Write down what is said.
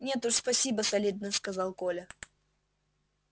нет уж спасибо солидно сказал коля